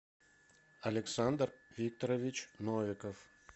александр викторович новиков